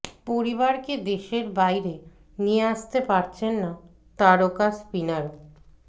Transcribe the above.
পরিবারকে দেশের বাইরে নিয়ে আসতে পারছেন না তারকা স্পিনারও